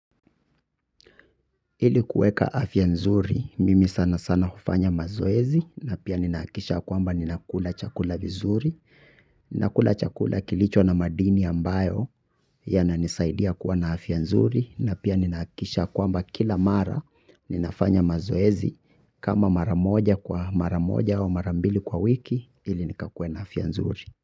Ili kueka afya nzuri mimi sanasana hufanya mazoezi na pia ninahakikisha ya kwamba ninakula chakula vizuri. Nakula chakula kilicho na madini ambayo yananisaidia kuwa na afya nzuri. Na pia ninahakikisha ya kwamba kila mara ninafanya mazoezi kama mara moja kwa mara moja au mara mbili kwa wiki ili nikakue na afya nzuri.